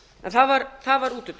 en það var útúrdúr